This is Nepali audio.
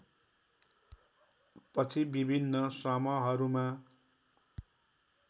पछि विभिन्न समहरूमा